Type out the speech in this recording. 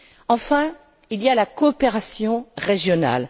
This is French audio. Enfin, il y a la coopération régionale.